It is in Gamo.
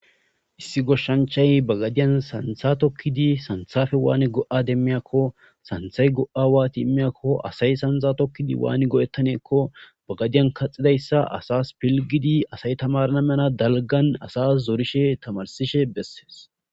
issi goshshanchay bagadiyan santha tokkidi santhafe waani go'a demmiyakko santhay go'a waati immiyakko asay sanza tokkidi waani go'ettaneekko bagadiyan kaxidayssa asas pilgidi asay tamarna mena dalgan asas zorishe tamarsishe bessees